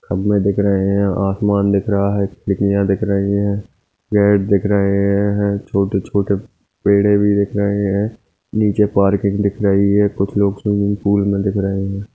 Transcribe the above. खंबे दिख रहे है आसमान दिख रहा है तितलियाँ दिख रही है दिख रहे है छोटे-छोटे पेड़े भी दिख रहे है नीचे पार्किंग दिख रही है कुछ लोग स्विम्मिंग पूल में दिख रहे है।